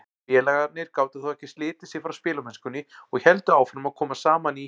Félagarnir gátu þó ekki slitið sig frá spilamennskunni og héldu áfram að koma saman í